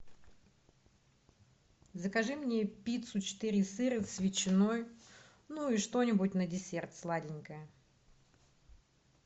закажи мне пиццу четыре сыра с ветчиной ну и что нибудь на десерт сладенькое